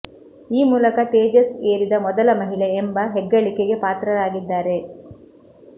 ಈ ಮೂಲಕ ತೇಜಸ್ ಏರಿದ ಮೊದಲ ಮಹಿಳೆ ಎಂಬ ಹೆಗ್ಗಳಿಕೆಗೆ ಪಾತ್ರರಾಗಿದ್ದಾರೆ